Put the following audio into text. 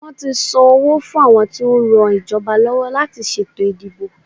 Wọ́n ti san owó fún àwọn tí ó ran ìjọba lọ́wọ́ láti ṣètò ìdìbò.